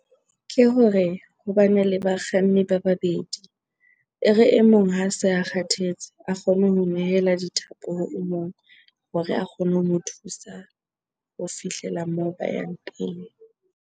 Ke hore ho bane le bakganni ba babedi. E re e mong ha se a kgathetse a kgone ho nehela dithapo ho mong hore a kgone ho mo thusa ho fihlela moo ba yang teng.